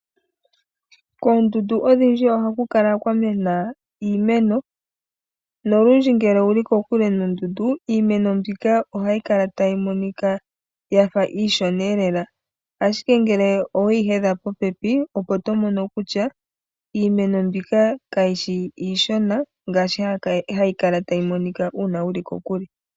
Koondundu odhindji ohakukala kwamena iimeno nolundji ngele owuli kokule nondundu iimeno mbika ohayi monika iishona lela , Ashike ngele oweyi hedha popepi opo owala tomoko kutya iimeno mbika kayishi iishona ngaashi hayi kala tayi monika uuna wuli kokule.